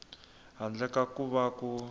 handle ka ku va ku